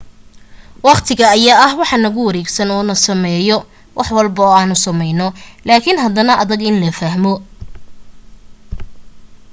waqtiga ayaa ah wax nagu wareegsan oo na saameeyo wax walbo aanu samayno laakin haddana adag in la fahmo